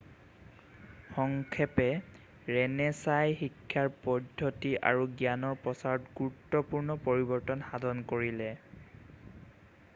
সংক্ষেপে ৰেণেছাঁই শিক্ষাৰ পদ্ধতি আৰু জ্ঞানৰ প্ৰচাৰত গুৰুত্বপূৰ্ণ পৰিৱৰ্তন সাধন কৰিলে